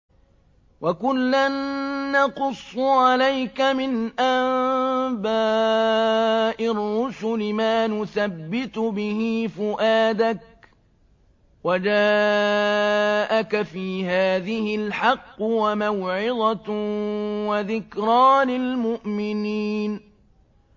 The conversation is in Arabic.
وَكُلًّا نَّقُصُّ عَلَيْكَ مِنْ أَنبَاءِ الرُّسُلِ مَا نُثَبِّتُ بِهِ فُؤَادَكَ ۚ وَجَاءَكَ فِي هَٰذِهِ الْحَقُّ وَمَوْعِظَةٌ وَذِكْرَىٰ لِلْمُؤْمِنِينَ